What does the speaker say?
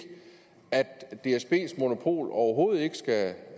at dsbs monopol overhovedet ikke skal